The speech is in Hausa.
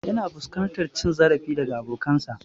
Yana fuskantar cin zarafi daga bokansa